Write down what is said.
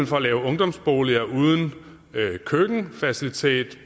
for at lave ungdomsboliger uden køkkenfaciliteter